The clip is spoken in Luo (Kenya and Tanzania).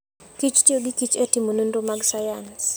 kich tiyo gi kich e timo nonro mag sayans.